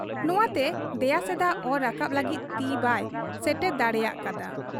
ᱱᱷᱟᱛᱮ ᱫᱮᱭᱟ ᱥᱮᱫᱟᱜ ᱚᱨ ᱨᱟᱠᱟᱵᱽ ᱞᱟᱹᱜᱤᱫ ᱛᱤ ᱵᱟᱭ ᱥᱮᱴᱮᱨ ᱫᱟᱲᱮᱭᱟᱠᱟ ᱦᱟᱫ ᱟ ᱾